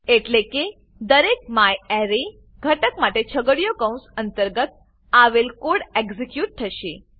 એટલે કે દરેક મ્યારે ઘટક માટે છગડીયા કૌંસ અંતર્ગત આવેલ કોડ એક્ઝીક્યુટ થશે